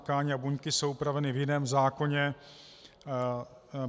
Tkáně a buňky jsou upraveny v jiném zákoně.